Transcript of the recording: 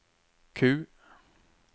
Q